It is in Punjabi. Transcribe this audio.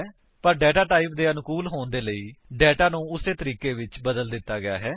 ਪਰ ਡੇਟਾ ਟਾਈਪ ਦੇ ਅਨੁਕੂਲ ਹੋਣ ਦੇ ਲਈ ਡੇਟਾ ਨੂੰ ਉਸੇ ਤਰੀਕੇ ਬਦਲ ਦਿੱਤਾ ਗਿਆ ਹੈ